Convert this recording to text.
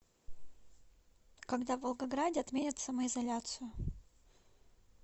когда в волгограде отменят самоизоляцию